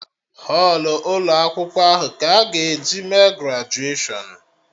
Họlụ ụkọ akwụkwọ ahụ ka a ga-eji mee grajuashọn